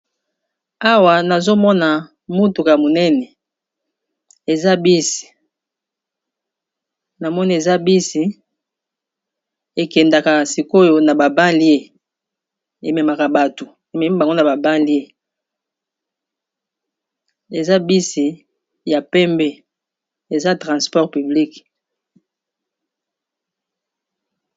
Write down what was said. Awa nazomona mutuka monene, eza bus ekendaka sikoyo na ba balie, ememaka bato ememi bango na ba balie, eza bus ya pembe eza transport publice.